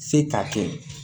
Se k'a kɛ